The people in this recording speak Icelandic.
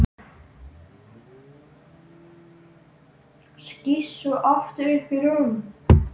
Skýst svo aftur upp í rúm.